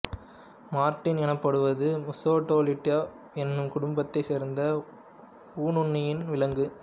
Martin எனப்படுவது முசுட்டெலிடே எனும் குடும்பத்தைச் சேர்ந்த ஊனுன்னி விலங்கு